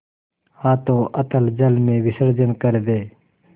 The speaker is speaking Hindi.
हाथों अतल जल में विसर्जन कर दे